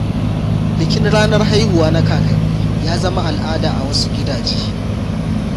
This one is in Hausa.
Bikin ranar haihuwa na kakanni ya zama al’ada a wasu gidaje.